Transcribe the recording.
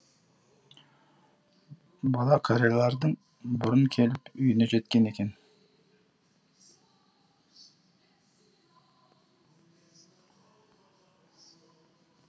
бала қариялардан бұрын келіп үйіне жеткен екен